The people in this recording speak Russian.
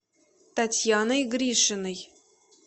татьяной гришиной